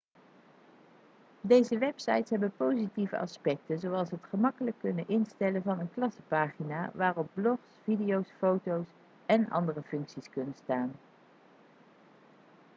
deze websites hebben positieve aspecten zoals het gemakkelijk kunnen instellen van een klassenpagina waarop blogs video's foto's en andere functies kunnen staan